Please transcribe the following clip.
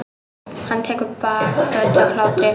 Hann tekur bakföll af hlátri.